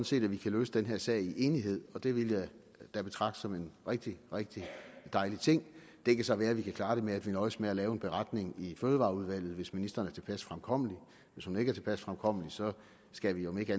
set at vi kan løse den her sag i enighed og det ville jeg da betragte som en rigtig rigtig dejlig ting det kan så være at vi kan klare det med at nøjes med at lave en beretning i fødevareudvalget hvis ministeren er tilpas fremkommelig hvis hun ikke er tilpas fremkommelig skal vi om ikke